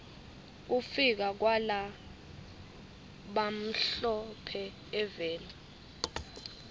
kufika kwala bamhlo phe eveni